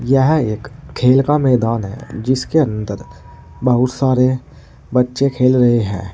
यह एक खेल का मैदान है जिसके अंदर बहुत सारे बच्चे खेल रहे हैं।